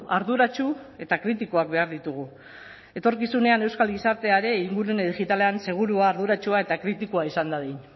arduratsu eta kritikoak behar ditugu etorkizunean euskal gizartea ere ingurune digitalean segurua arduratsua eta kritikoa izan dadin